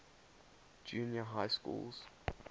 junior high schools